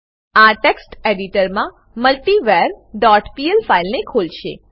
આ ટેક્સ્ટ એડીટરમાં multiver dot PL ફાઈલને ખોલશે